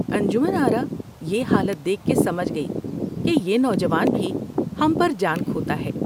انجمن آرا یہ حالت دیکھ کے سمجھ گئی کہ یہ نوجوان بھی ہم پر جان کھوتا ہے ۔